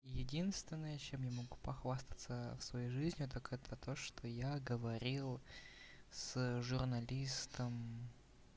единственное чем я могу похвастаться в своей жизни так это то что я говорил с журналистом